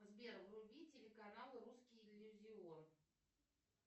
сбер вруби телеканал русский иллюзион